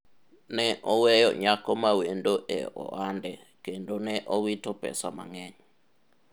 ne oweyo nyako mawendo e ohande kendo ne owito pesa mang'eny